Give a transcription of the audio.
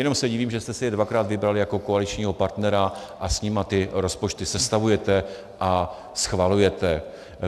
Jenom se divím, že jste si je dvakrát vybrali jako koaličního partnera a s nimi ty rozpočty sestavujete a schvalujete.